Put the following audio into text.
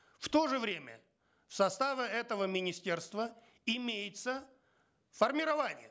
в то же время в составе этого министерства имеются формирования